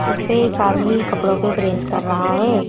इस पे एक आदमी कपड़ों पे प्रेस कर रहा है।